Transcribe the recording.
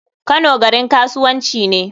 Kano garin kasuwanci ne.